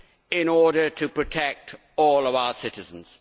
in order to protect all of our citizens.